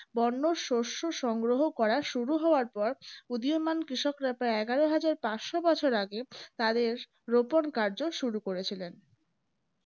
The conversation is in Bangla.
বরন শস্য সংগ্রহ করা শুরু হওয়ার পর উদিয়মান কৃষকরা প্রায় এগারো হাজার পাঁচশো বছর আগে তাদের রোপণ কারজ শুরু করেছিলেন